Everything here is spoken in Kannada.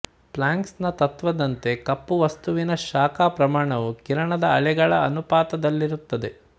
ಪ್ಲ್ಯಾಂಕ್ಸ್ ನ ತತ್ವದಂತೆ ಕಪ್ಪು ವಸ್ತುವಿನ ಶಾಖ ಪ್ರಮಾಣವು ಕಿರಣದ ಅಲೆಗಳ ಅನುಪಾತದಲ್ಲಿರುತ್ತದೆ